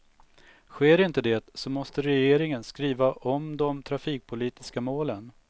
Sker inte det, så måste regeringen skriva om de trafikpolitiska målen.